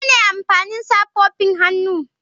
Menene amfanin safofin hannu?